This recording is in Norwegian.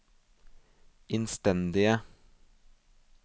innstendige